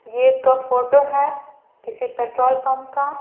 ये एक क फोटो है किसी पेट्रोल पंप का--